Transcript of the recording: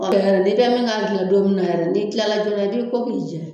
Ɔ tɛ hɛrɛ ye dɛ, ni kɛ bɛ min ka' bila don min na yɛrɛ ni kilalajoona i b'i ko'ki jɛ.